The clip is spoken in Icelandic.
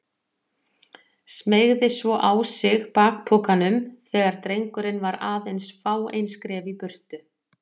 Smeygði svo á sig bakpokanum þegar drengurinn var aðeins fáein skref í burtu.